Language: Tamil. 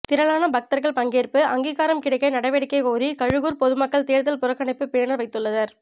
திரளான பக்தர்கள் பங்கேற்பு அங்கீகாரம் கிடைக்க நடவடிக்கை கோரி கழுகூர் பொதுமக்கள் தேர்தல் புறக்கணிப்பு பேனர் வைத்துள்ளனர்